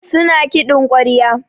Su na kiɗin ƙwarya.